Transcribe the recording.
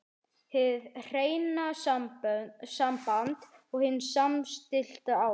HIÐ HREINA SAMBAND OG HIN SAMSTILLTA ÁST